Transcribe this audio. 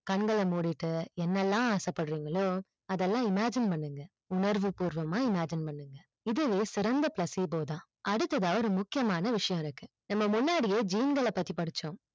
கண்கல முடிட்டு என்னெல்லாம் ஆசப்படுரிங்களோ அதெல்லாம் imagine பண்ணுங்க உணர்வு பூர்வமா imagine பண்ணுங்க இதுவே சிறந்த placebo தான் அடுத்ததா ஒரு முக்கியமான ஒரு விஷயம் இருக்கு நம்ம முன்னாடியே gene கள பத்தி படிச்சோம்